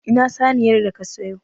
Ina saniyar da ka siyo?